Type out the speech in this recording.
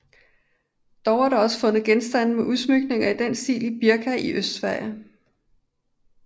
Dog er der også fundet genstande med udsmykninger i denne stil i Birka i Østsverige